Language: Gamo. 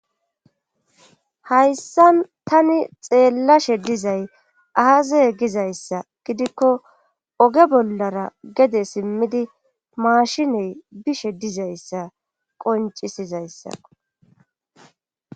Hayssan tani xeellashe dizay aaze gizayssa gidikko oge bollara gede simmidi maashiney bishe dizayssa qoncisizayssako